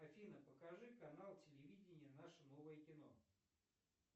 афина покажи канал телевидения наше новое кино